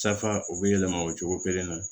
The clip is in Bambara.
Safa u bɛ yɛlɛma o cogo kelen na